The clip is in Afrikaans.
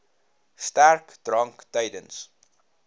sterk drank tydens